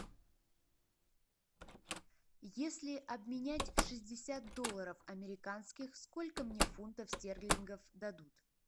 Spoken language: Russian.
если обменять шестьдесят долларов американских сколько мне фунтов стерлингов дадут